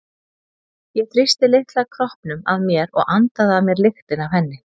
Ég þrýsti litla kroppnum að mér og andaði að mér lyktinni af henni.